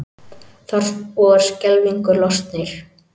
Þorpsbúar skelfingu lostnir